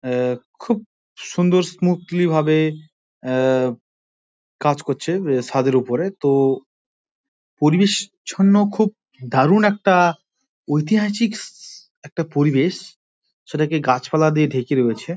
আ-আ-খুব সুন্দর স্মুথলী ভাবে আ কাজ করছে ছাদের উপরে তো পরিবেশ ছন্ন খুব দারুন একটা ঐতিহাসিক-স একটা পরিবেশ সেটাকে গাছপালা দিয়ে ঢেকে রয়েছে ।